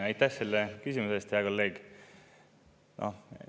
Aitäh, selle küsimuse eest, hea kolleeg!